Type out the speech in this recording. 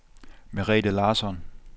Merete Larsson